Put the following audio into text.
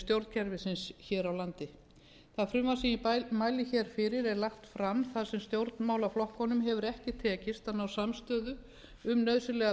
stjórnkerfisins hér á landi það frumvarp sem ég mæli hér fyrir er lagt fram þar sem stjórnmálaflokkunum hefur ekki tekist að ná samstöðu um nauðsynlegar